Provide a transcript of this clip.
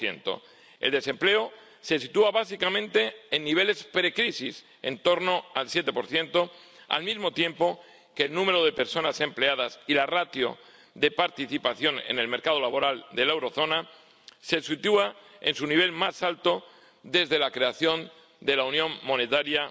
2 El desempleo se sitúa básicamente en niveles precrisis, en torno al 7 al mismo tiempo que el número de personas empleadas y la ratio de participación en el mercado laboral de la eurozona se sitúa en su nivel más alto desde la creación de la unión monetaria